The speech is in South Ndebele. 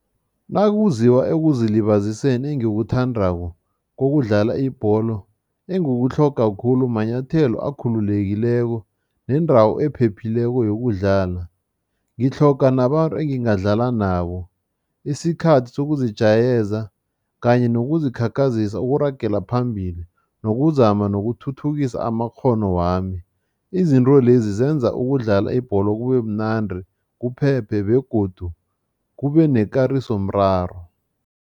Nakuziwa ekuzilibaziseni engikuthandako kokudlala ibholo, engikutlhoga khulu manyathelo akhululekileko nendawo ephephileko yokudlala. Ngitlhoga nabantu engingadlala nabo, isikhathi sokuzijayeza kanye nokuzikhakhazisa ukuragela phambili nokuzama nokuthuthukisa amakghono wami. Izinto lezi zenza ukudlala ibholo kubemnandi, kuphephe begodu kube nekarisomraro.